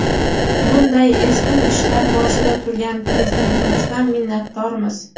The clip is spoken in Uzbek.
Bunday ezgu ishlar boshida turgan Prezidentimizdan minnatdormiz.